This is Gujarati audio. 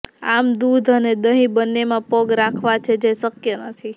આમ દૂધ અને દહીં બંનેમાં પગ રાખવા છે જે શક્ય નથી